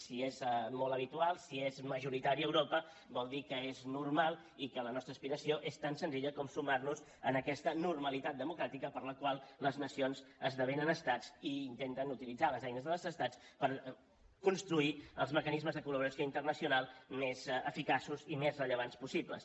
si és molt habitual si és majoritari a europa vol dir que és normal i que la nostra aspiració és tan senzilla com sumar nos a aquesta normalitat democràtica per la qual les nacions esdevenen estats i intenten utilitzar les eines dels estats per construir els mecanismes de col·laboració internacional més eficaços i més rellevants possible